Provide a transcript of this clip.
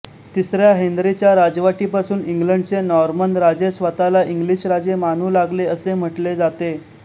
तिसऱ्या हेन्रीच्या राजवटीपासून इंग्लंडचे नॉर्मन राजे स्वतःला इंग्लिश राजे मानू लागले असे म्हटले जाते